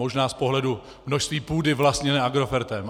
Možná z pohledu množství půdy vlastněné Agrofertem.